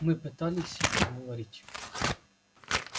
мы пытались их уговорить